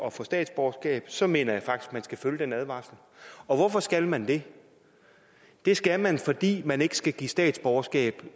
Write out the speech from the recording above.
at få statsborgerskab så mener jeg faktisk at man skal følge den advarsel og hvorfor skal man det det skal man fordi man ikke skal give statsborgerskab